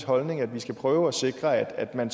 holdning at vi skal prøve at sikre at man